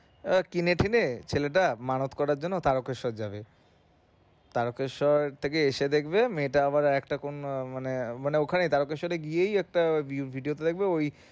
ও কিনে টিনে ছেলেটা মানত করার জন্যে যাবে থেকে এসে দেখবে মেয়েটা আবার আরেকটা কোন মানে মানে ওখানে গিয়েই একটা